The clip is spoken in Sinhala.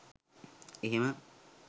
එහෙම